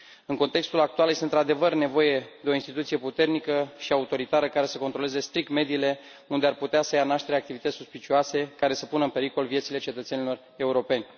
În contextul actual, este într adevăr nevoie de o instituție puternică și autoritară care să controleze strict mediile unde ar putea să ia naștere activități suspecte care să pună în pericol vieților cetățenilor europeni.